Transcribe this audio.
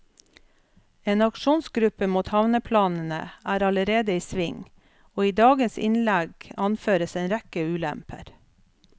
En aksjonsgruppe mot havneplanene er allerede i sving, og i dagens innlegg anføres en rekke ulemper.